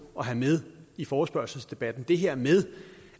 at have med i forespørgselsdebatten det her med